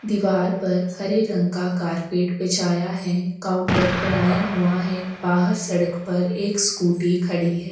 दीवाल पर हरे रंग का कार्पेट बिछाया हैकाउंटर बनाया हुआ है बाहर सड़क पर एक स्कूटी खड़ी है।